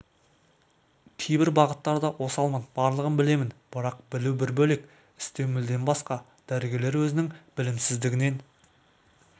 кейбір бағыттарда осалмын барлығын білемін бірақ білу бір бөлек істеу мүлдем басқа дәрігерлер өзінің білімсіздігінен